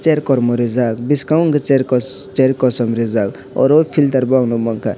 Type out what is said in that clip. chair kormo rijak biskango hingke chair koss chair kosom rijak aro filter bo ang nongmanka.